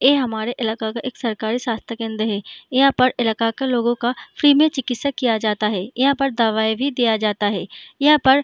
ये हमारे इलाका का एक सरकारी स्वस्थ्य केंद्र है यहाँ पर इलाका का लोगो का फ्री में चिकित्सा किया जाता है यहाँ पर दवाई भी दिया जाता है यहाँ पर --